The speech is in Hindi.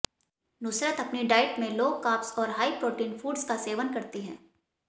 नुसरत अपनी डाइट में लो कार्ब्स और हाई प्रोटीन फूड्स का सेवन करती है